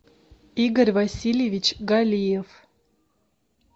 игорь васильевич галиев